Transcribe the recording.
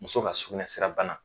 Muso ka sugunɛsira bana